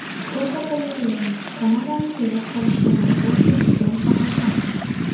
Fotogalereya: Kanadani sevib qolishga majbur qiladigan sabablar.